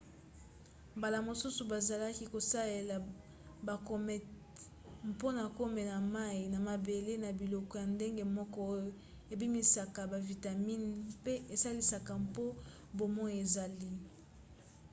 mbala mosusu bazalaki kosalela bacomètes mpona komema mai na mabele na biloko ya ndenge moko oyo ebimisaka bavitamine mpe esalisaka po bomoi ezala